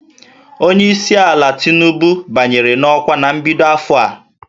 Onye isi ala Tinubu banyere n'ọkwa na mbido afọ a